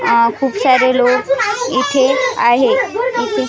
अह खूप सारे लोक इथे आहे इथे --